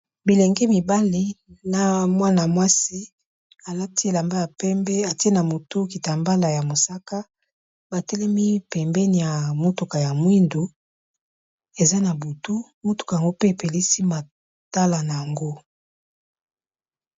Bilenge mibali na mwana mwasi alati elamba ya pembe, atie na motu kitambala ya mosaka, ba telemi pembeni ya motuka ya mwindu, eza na butu motuka yango pe epelisi matala nango.